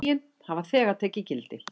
Lögin hafa þegar tekið gildi.